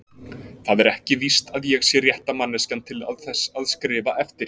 Það er ekki víst að ég sé rétta manneskjan til þess að skrifa eftir